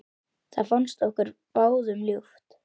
Það fannst okkur báðum ljúft.